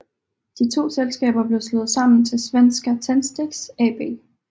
De to selskaber blev slået sammen til Svenska Tändsticks AB